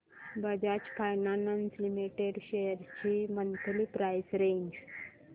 Bajaj finance limited shares ची monthly price range